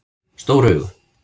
Stór augu